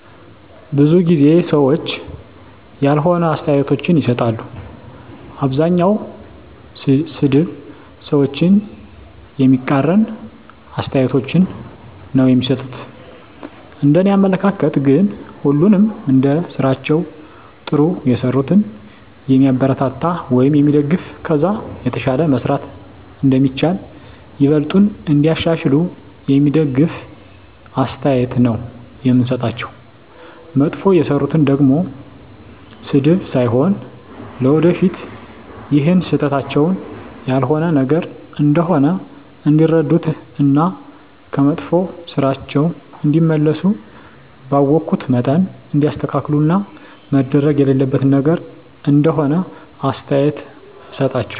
ብዙ ጊዜ ሰዎች ያልሆነ አስተያየቶችን ይሰጣሉ። አብዛኛዉ ሰድብ፣ ሰዎችን የሚቃረን አስተያየቶች ነዉ እሚሰጡት፤ እንደኔ አመለካከት ግን ሁሉንም እንደስራቸዉ ጥሩ የሰሩትን የሚያበረታታ ወይም የሚደገፍ ከዛ የተሻለ መስራት እንደሚቻል፣ ይበልጥኑ እንዲያሻሽሉ የሚደግፍ አስተያየት ነዉ የምሰጣቸዉ፣ መጥፎ የሰሩትን ደሞ ስድብ ሳይሆን ለወደፊት ይሀን ስህተታቸዉን ያልሆነ ነገር እንደሆነ እንዲረዱት እና ከመጥፋ ስራቸዉ እንዲመለሱ ባወኩት መጠን እንዲያስተካክሉት እና መደረግ የሌለበት ነገር እንደሆነ አስተያየት እሰጣቸዋለሁ።